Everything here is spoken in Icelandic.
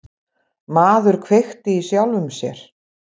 Maður kveikti í sjálfum sér